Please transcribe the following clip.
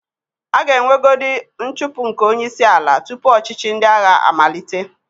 A ga-enwegodi nchụpụ nke onyeísīala tupu ọchịchị ndị agha amalite.